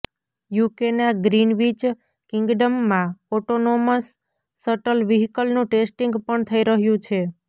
યૂકેના Greenwich કિંગડમમાં autonomous shuttle વ્હીકલનું testing પણ થઈ રહ્યું છે